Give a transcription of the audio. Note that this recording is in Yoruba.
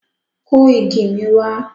Kó igi mi wá!